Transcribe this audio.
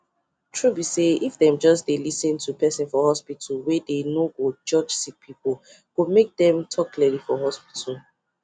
true be sayif them just dey lis ten to person for hospitalwey dey no go judge sick peoplee go make dem talk clearly for hospital